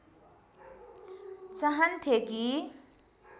चाहन्थे कि